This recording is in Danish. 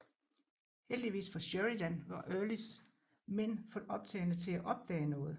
Heldigvis for Sheridan var Earlys mænd for optagne til at opdage noget